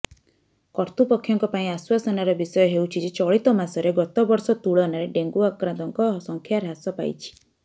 କର୍ତ୍ତୃପକ୍ଷଙ୍କ ପାଇଁ ଆଶ୍ୱାସନାର ବିଷୟ ହେଉଛି ଯେ ଚଳିତମାସରେ ଗତବର୍ଷ ତୁଳନାରେ ଡେଙ୍ଗୁ ଆକ୍ରାନ୍ତଙ୍କ ସଂଖ୍ୟା ହ୍ରାସ ପାଇଛି